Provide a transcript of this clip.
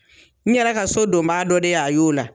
N yɛrɛ ka so donbaa dɔ de y'a y'o la.